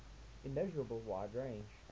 immeasurable wide range